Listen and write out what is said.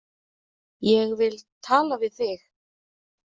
Ég vil tala við þig.